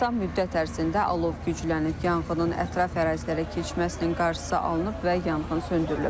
Qısa müddət ərzində alov güclənib, yanğının ətraf ərazilərə keçməsinin qarşısı alınıb və yanğın söndürülüb.